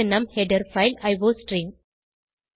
இது நம் header file iostream